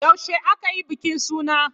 Yaushe aka yi bikin suna?